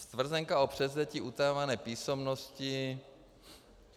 Stvrzenka o převzetí utajované písemnosti.